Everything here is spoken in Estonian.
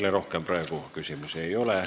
Teile rohkem praegu küsimusi ei ole.